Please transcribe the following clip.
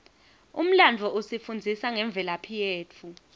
umlandvo usifundzisa ngemvelaphi yetfu